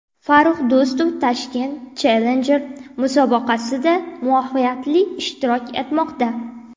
Farrux Do‘stov Tashkent Challenger musobaqasida muvaffaqiyatli ishtirok etmoqda.